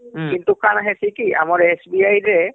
ହୁଁ ହମ୍କିନ୍ତୁ କାଣା ହେସି କି ଆମର SBIରେ